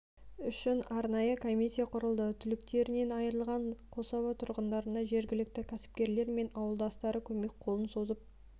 үшін арнайы комиссия құрылды түліктерінен айырылған қособа тұрғындарына жергілікті кәсіпкерлер мен ауылдастары көмек қолын созып